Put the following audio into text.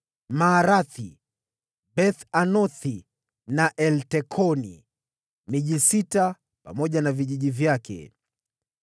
Maarathi, Beth-Anothi na Eltekoni; miji sita pamoja na vijiji vyake.